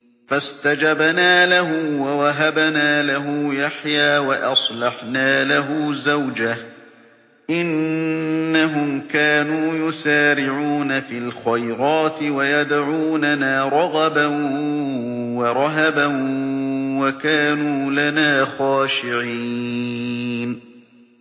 فَاسْتَجَبْنَا لَهُ وَوَهَبْنَا لَهُ يَحْيَىٰ وَأَصْلَحْنَا لَهُ زَوْجَهُ ۚ إِنَّهُمْ كَانُوا يُسَارِعُونَ فِي الْخَيْرَاتِ وَيَدْعُونَنَا رَغَبًا وَرَهَبًا ۖ وَكَانُوا لَنَا خَاشِعِينَ